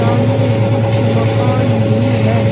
सामने कुछ मकान भी है।